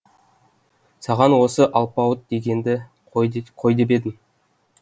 саған осы алпауыт дегенді қой де қой деп едім